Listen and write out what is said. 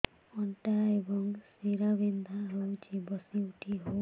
ଅଣ୍ଟା ଏବଂ ଶୀରା ବିନ୍ଧା ହେଉଛି ବସି ଉଠି ହଉନି